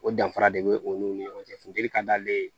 O danfara de be o n'u ni ɲɔgɔn cɛ funteli ka d'ale ye